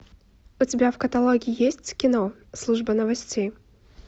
у тебя в каталоге есть кино служба новостей